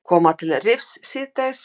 Koma til Rifs síðdegis